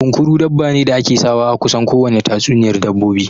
Kunkuru dabba ne da ake sawa a kusan kowane tatsuniyar dabbobi